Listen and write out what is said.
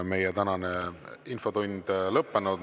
Meie tänane infotund on lõppenud.